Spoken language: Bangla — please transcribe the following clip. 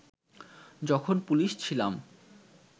যখন পুলিশ ছিলাম